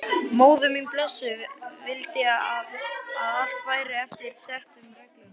Móðir mín blessuð vildi að allt færi eftir settum reglum.